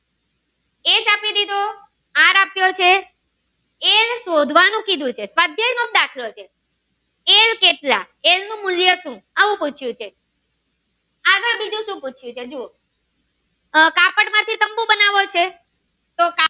સુ શોધવાનું કીધું છે સ્વાધ્યાય નો જ દાખલો છે એન કેટલા એન નું મૂલ્ય સુ પૂછ્યું છે આગળ બીજું સુ પૂછ્યું છે જુઓ આહ કાપડ મયહી તંબુ બનાવો છે તો કાપડ